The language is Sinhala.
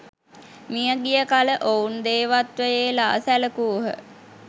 මිය ගිය කල ඔවුන් දේවත්වයේ ලා සැලකූහ.